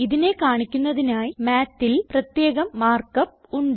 ഇതിനെ കാണിക്കുന്നതിനായി Mathൽ പ്രത്യേകം മാർക്ക് അപ്പ് ഉണ്ട്